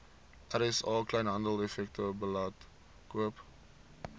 rsa kleinhandeleffektewebblad koop